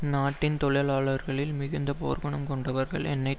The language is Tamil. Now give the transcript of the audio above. இந்நாட்டின் தொழிலாளர்களில் மிகுந்த போர்க்குணம் கொண்டவர்கள் எண்ணெய்